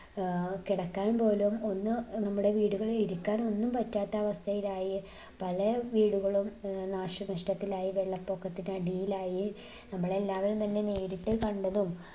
ഏർ കിടക്കാൻ പോലും ഒന്ന് ഏർ നമ്മുടെ വീടുകളിൽ ഒന്ന് ഇരിക്കാൻ ഒന്നും പറ്റാതാവസ്ഥയിലായി പല വീടുകളും ഏർ നാശനഷ്ടത്തിലായി വെള്ളപൊക്കത്തിനടിയിലായി. നമ്മളെല്ലാവരും തന്നെ നേരിട്ട് കണ്ടതും